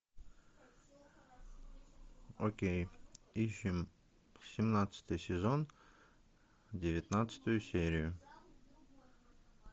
окей ищем семнадцатый сезон девятнадцатую серию